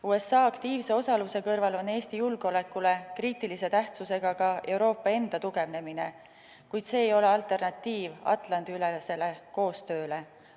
USA aktiivse osaluse kõrval on Eesti julgeolekule kriitilise tähtsusega ka Euroopa enda tugevnemine, kuid see ei ole alternatiiv Atlandi-ülesele koostööle.